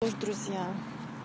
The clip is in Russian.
вы ж друзья